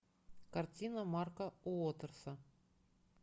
картина марка уотерса